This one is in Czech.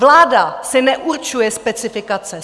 Vláda si neurčuje specifikace.